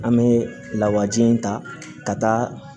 An bɛ lawaji in ta ka taa